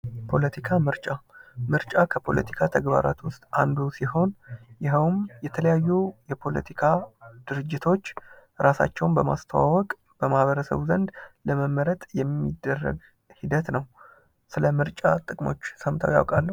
ፖለቲካ ምርጫ ምርጫ ከፖለቲካ ተግባራት ውስጥ አንዱ ሲሆን ይኸውም የተለያዩ የፖለቲካ ድርጅቶች እራሳቸውን በማስተዋወቅ በማህበረሰቡ ዘንድ ለመመረጥ የሚደረግ ሂደት ነው። ስለ ምርጫ ጥቅሞች ሰምተው ያውቃሉ?